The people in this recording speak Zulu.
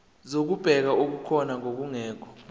zokubheka okukhona nokungekho